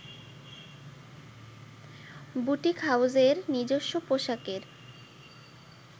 boutique হাউসের নিজস্ব পোশাকের